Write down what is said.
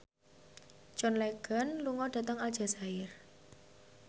John Legend lunga dhateng Aljazair